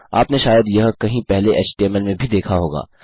आप ने शायद यह कहीं पहले एचटीएमएल में भी देखा होगा